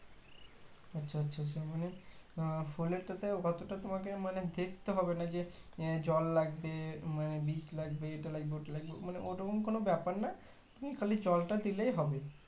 আচ্ছা আচ্ছা আচ্ছা মানে আহ মানে ফুলেরটা তে অতটা তোমাকে মানে দেখতে হবে না যে জল লাগবে মানে বিষ লাগবে এটা লাগবে ওটা লাগবে মানে ওরকম কোনো ব্যাপার না তুমি খালি জলটা দিলে হবে